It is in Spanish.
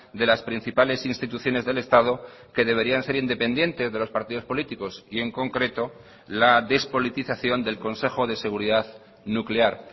de las principales instituciones del estado que deberían ser independientes de los partidos políticos y en concreto la despolitización del consejo de seguridad nuclear